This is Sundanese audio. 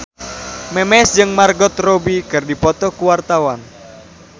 Memes jeung Margot Robbie keur dipoto ku wartawan